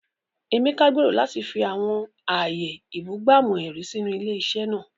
Emeka gbèrò láti fi àwọn ààyè ìbúgbàmù-ẹ̀rí sínú ilé-iṣẹ́ náà.